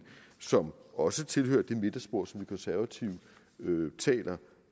som også tilhører det midterspor som de konservative taler